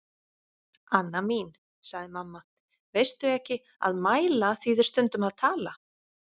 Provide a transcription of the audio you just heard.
Anna mín, sagði mamma, veistu ekki að mæla þýðir stundum að tala?